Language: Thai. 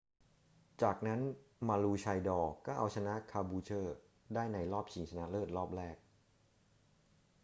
จากนั้น maroochydore ก็เอาชนะ caboolture ได้ในรอบชิงชนะเลิศรอบแรก